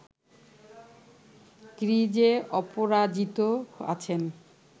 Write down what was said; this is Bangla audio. ক্রিজে অপরাজিত আছেন